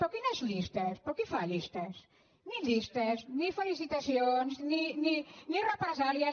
però quines llistes però qui fa llistes ni llistes ni felicitacions ni represàlies